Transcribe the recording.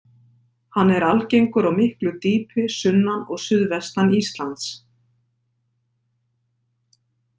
Hann er algengur á miklu dýpi sunnan og suðvestan Íslands.